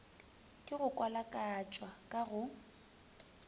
ke go kwalakwatšwa ka go